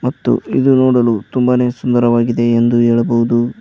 ಮತ್ತು ಇದು ನೋಡಲು ತುಂಬಾನೇ ಸುಂದರವಾಗಿದೆ ಎಂದು ಹೇಳಬಹುದು.